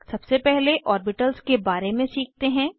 सबसे पहले ऑर्बिटल्स के बारे में सीखते हैं